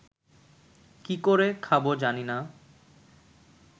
কি করে খাব জানিনা